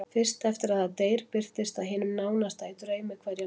Fyrst eftir að það deyr birtist það hinum nánasta í draumi hverja nótt.